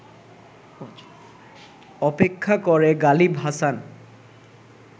অপেক্ষা করে গালিব হাসান